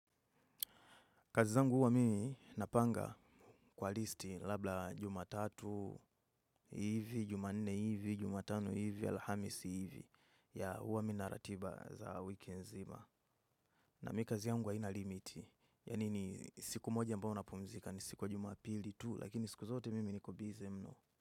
Kazi zangu huwa mimi napanga kwa listi labda jumatatu hivi, jumanne hivi, jumatano hivi, alhamisi hivi ya huwa minaratiba za wiki zima. Na mi kazi yangu ainalimiti, yanini siku moja ambao napumzika ni siku jumapili tu, lakini siku zote mimi niko bizi mno.